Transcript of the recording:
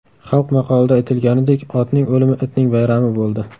Xalq maqolida aytilganidek, otning o‘limi itning bayrami bo‘ldi.